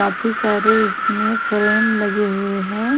वापिस अरे इसमें फ्रेम लगी हुई हे।